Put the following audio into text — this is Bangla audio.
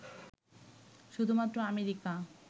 শুধুমাত্র আমেরিকা